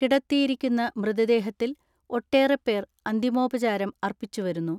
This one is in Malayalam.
കിടത്തിയിരിക്കുന്ന മൃതദേഹത്തിൽ ഒട്ടേറെപേർ അന്തിമോ പചാരം അർപ്പിച്ചു വരുന്നു.